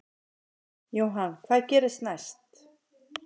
Jóhann: Hvað gerist næst?